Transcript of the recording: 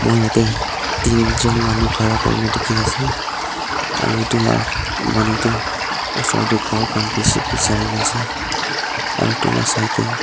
jatte tinjont manu khara kori na dekhi ase aru etu laga manu tu osor te gour khan bisi bisai rina ase aru tui laga saite--